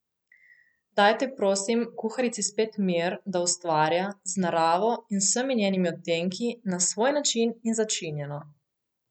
Dajte, prosim, kuharici spet mir, da ustvarja, z naravo in vsemi njenimi odtenki, na svoj način in začinjeno!